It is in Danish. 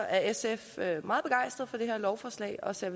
at sf er meget begejstret for det her lovforslag og ser